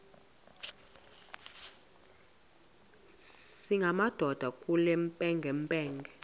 singamadoda kule mpengempenge